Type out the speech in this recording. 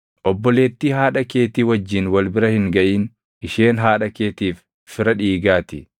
“ ‘Obboleettii haadha keetii wajjin wal bira hin gaʼin; isheen haadha keetiif fira dhiigaa ti.